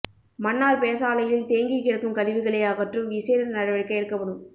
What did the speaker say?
மன்னார் பேசாலையில் தேங்கிக் கிடக்கும் கழிவுகளை அகற்றும் விசேட நடவடிக்கை எடுக்கப்படும்